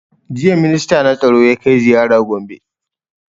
Jiya minsta na tsaro ya kai ziyara gombe